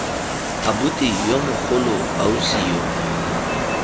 abuti yo mogolo ausi yo